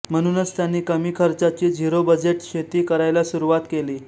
म्हणूनच त्यांनी कमी खर्चाची झिरो बजेट शेती करायला सुरुवात केली